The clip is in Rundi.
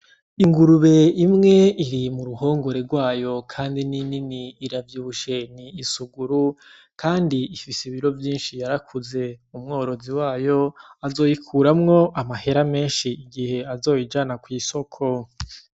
Ingurube imwe iri mu ruhongore rwayo kandi ni nini iravyibushe, ni isuguru kandi ifise ibiro vyinshi yarakuze, umworozi wayo azoyikuramwo amahera menshi igihe azoyijana kw‘ isoko .